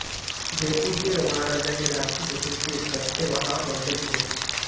जयपूरचे महाराजा हे राजपूत असून ते कछवाहा वंशातील होते